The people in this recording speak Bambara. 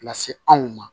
Lase anw ma